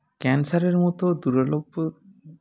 cancer -এর মতো দূরারোগ্য